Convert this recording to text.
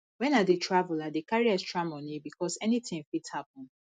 wen i dey travel i dey carry extra moni because anytin fit happen